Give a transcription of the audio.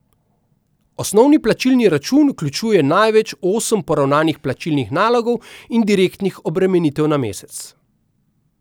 Osnovni plačilni račun vključuje največ osem poravnanih plačilnih nalogov in direktnih obremenitev na mesec.